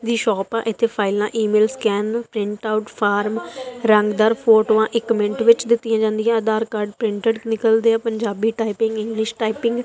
ਵੀ shop ਆ ਇਥੇ ਫਾਈਲਾਂ email scan print out form ਰੰਗਦਾਰ ਫੋਟੋਆਂ ਇੱਕ ਮਿੰਟ ਵਿੱਚ ਦਿੱਤੀਆਂ ਜਾਂਦੀਆਂ ਹਨ ਆਧਾਰ ਕਾਰਡ ਪ੍ਰਿੰਟਡ ਨਿਕਲਦੇ ਆ ਪੰਜਾਬੀ ਟਾਈਪਿੰਗ ਇੰਗਲਿਸ਼ ਟਾਈਪਿੰਗ --